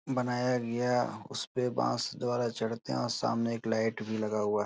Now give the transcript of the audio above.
बनाया गया। उसपे बांस द्वारा चढ़ते है और सामने एक लाईट भी लगा हुआ --